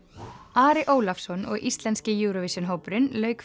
Ari Ólafsson og íslenski Eurovision hópurinn lauk